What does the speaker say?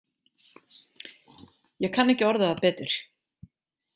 Ég kann ekki að orða það betur.